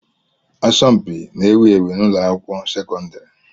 Asọmpi n'ewu ewu n'ụlọ akwụkwọ sekọndrị.